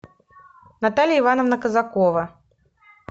наталья ивановна казакова